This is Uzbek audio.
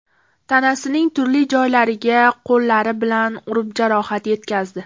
tanasining turli joylariga qo‘llari bilan urib jarohat yetkazdi .